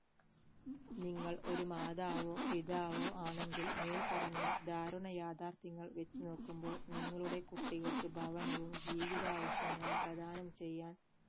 നിങ്ങൾ ഒരുമാതാവോ പിതാവോ ആണെങ്കിൽ മേൽപ്പറഞ്ഞ ദാരുണ യാഥാർഥ്യങ്ങൾ വെച്ച് നോക്കുമ്പോൾ നിങ്ങളുടെ കുട്ടികൾക്ക് ഭവനവും ജീവിതവിശ്യങ്ങളും പ്രധാനം ചെയ്യാൻ